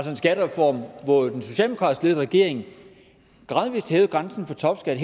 en skattereform hvor en socialdemokratisk ledet regering gradvis hævede grænsen for topskat